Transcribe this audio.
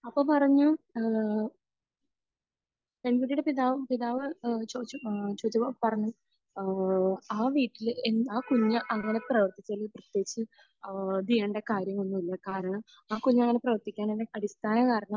അപ്പോൾ പറഞ്ഞു ഏഹ് പെൺകുട്ടിടെ പിതാവും പിതാവ് ഏഹ് ചോദിച്ചു ഏഹ് ചോദിച്ചപ്പോൾ പറഞ്ഞു ഏഹ് ആ വീട്ടിൽ ആ കുഞ്ഞ് അങ്ങനത്തെ പ്രവർത്തിച്ചതിൽ പ്രത്യേകിച്ച് ഇത് ചെയ്യേണ്ട കാര്യമൊന്നുമില്ല. കാരണം ആ കുഞ്ഞങ്ങനെ പ്രവർത്തിക്കുന്നതിന്റെ അടിസ്ഥാന കാരണം